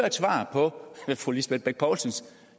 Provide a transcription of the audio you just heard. et svar på fru lisbeth bech poulsens